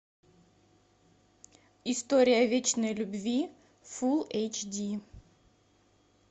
история вечной любви фул эйч ди